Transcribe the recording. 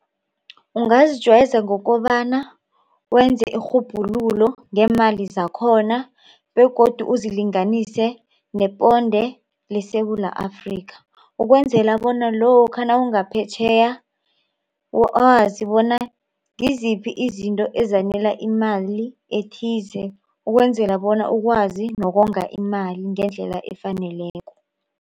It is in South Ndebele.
Ungazijwayeza ngokobana wenze irhubhululo ngeemali zakhona begodu uzilinganise neponde leSewula Afrika. Ukwenzela bona lokha nawungaphetjheya wazi bona ngiziphi izinto izanela imali ethize. Ukwenzela bona wazi nokonga imali ngendlela efaneleko.